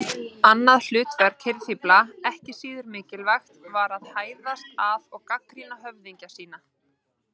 Annað hlutverk hirðfífla, ekki síður mikilvægt, var að hæðast að og gagnrýna höfðingja sína.